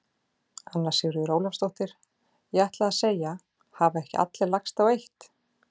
Anna Sigríður Ólafsdóttir: Ég ætlaði að segja: Hafa ekki allir lagst á eitt?